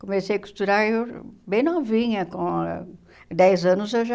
Comecei a costurar eu bem novinha, com dez anos eu já...